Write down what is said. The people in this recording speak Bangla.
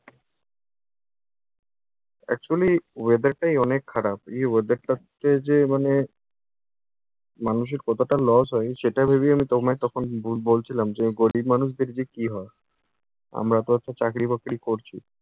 actually weather টাই অনেক খারাপ। এই weather টাতে যে মানে মানুষের কতটা loss হয় সেটা ভেবেই আমি তোমায় তখন ব বলছিলাম, যে গরিব মানুষদের যে কী হয়। আমরা তো একটা চাকরি-বাকরি করছি